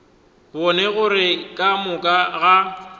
bone gore ka moka ga